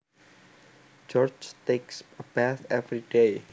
George takes a bath every day